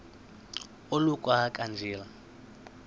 oluka ka njl